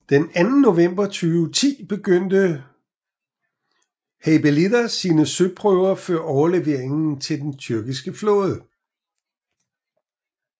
Den 2 november 2010 begyndte Heybeliada sine søprøver før overleveringen til den tyrkiske flåde